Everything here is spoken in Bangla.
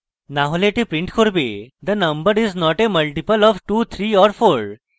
না হলে the print করবে the number is not a multiple of 23 or 4